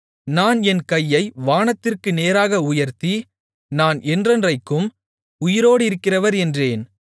நான் என் கையை வானத்திற்கு நேராக உயர்த்தி நான் என்றென்றைக்கும் உயிரோடிருக்கிறவர் என்கிறேன்